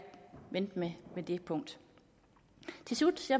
vente med det punkt til slut